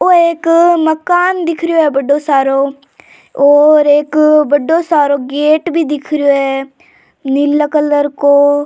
ओ एक मकान दिख रियो है बड़ो सारो और एक बड़ो सारो गेट भी दिख रियो है नीला कलर को।